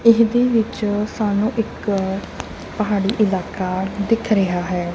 ਇਹਦੇ ਵਿੱਚ ਸਾਨੂੰ ਇੱਕ ਪਹਾੜੀ ਇਲਾਕਾ ਦਿਖ ਰਿਹਾ ਹੈ।